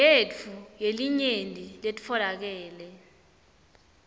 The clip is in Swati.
yetfu yelinyenti letfolakele